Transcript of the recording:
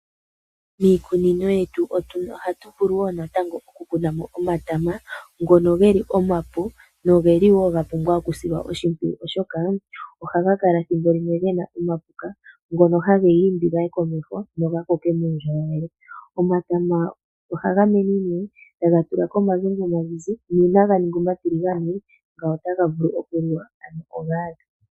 Miikunino yetu ohatu vulu wo natango oku kuna mo omatama ngono ge li omapu noga pumbwa okusilwa oshimpwiyu, oshoka ohaga kala thimbo limwe ge na omapuka, ngono hage ga imbi ga ye komeho go ga koke nuundjolowele. Omatama ohaga mene nee taga tula ko omagongwa nuuna ga ninga omatiligane ngawo otaga vulu okuliwa.